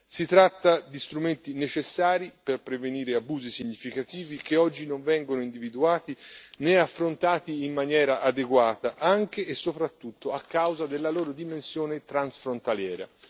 Si tratta di strumenti necessari per prevenire abusi significativi che oggi non vengono individuati né affrontati in maniera adeguata, anche e soprattutto a causa della loro dimensione transfrontaliera.